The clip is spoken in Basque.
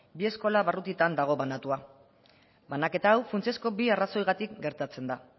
bi eskola barrutietan dago banatua banaketa hau funtsezko bi arrazoiengatik gertatzen da